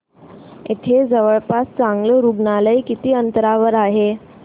इथे जवळपास चांगलं रुग्णालय किती अंतरावर आहे